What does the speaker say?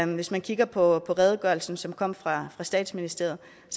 hvis man kigger på redegørelsen som kom fra statsministeriet